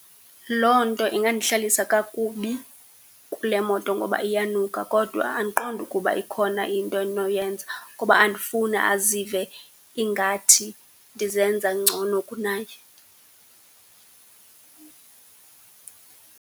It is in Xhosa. Loo nto ingandihlalisa kakubi kule moto ngoba iyanuka, kodwa andiqondi ukuba ikhona into endinoyenza kuba andifuni azive ingathi ndizenza ngcono kunaye.